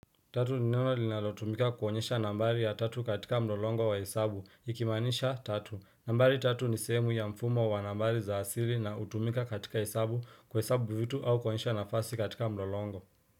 Tatu ni neno linalotumika kuonyesha nambari ya tatu katika mlolongo wa hesabu, ikimaanisha tatu. Nambari tatu ni sehemu ya mfumo wa nambari za asili na hutumika katika hesabu kuhesabu vitu au kuonyesha nafasi katika mlolongo.